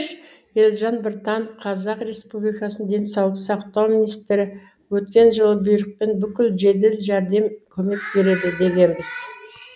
елжан біртанов қр денсаулық сақтау министрі өткен жылы бұйрықпен бүкіл жедел жәрдем көмек береді дегенбіз